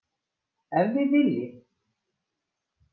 Ef þið viljið.